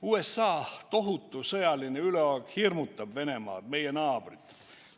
USA tohutu sõjaline üleolek hirmutab Venemaad, meie naabrit.